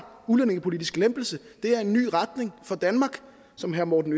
udlændingepolitisk lempelse det er en ny retning for danmark som herre morten